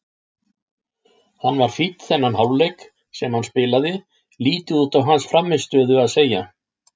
Hann var fínn þennan hálfleik sem hann spilaði, lítið út á hans frammistöðu að segja.